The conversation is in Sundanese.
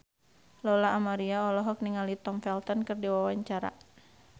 Lola Amaria olohok ningali Tom Felton keur diwawancara